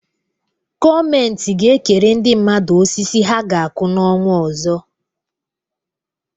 Gọọmenti ga-ekere ndị mmadụ osisi ha ga-akụ n'ọnwa ọzọ.